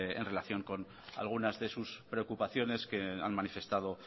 en relación con algunas de sus preocupaciones que han manifestado